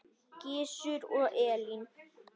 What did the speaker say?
Gizur og Elín.